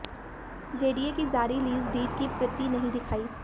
JDA की जारी lease deed की प्रति नहीं दिखाई